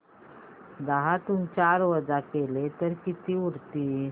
दहातून चार वजा केले तर किती उरतील